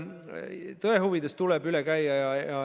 Tõe huvides tuleb üks asi üle käia.